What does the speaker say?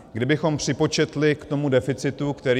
Kdybychom připočetli k tomu deficitu, který...